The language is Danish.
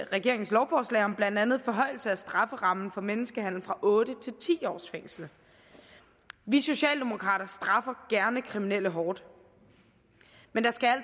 regeringens lovforslag om blandt andet forhøjelse af strafferammen for menneskehandel fra otte til ti års fængsel vi socialdemokrater straffer gerne kriminelle hårdt men der skal